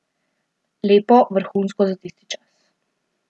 Lepo, vrhunsko za tisti čas.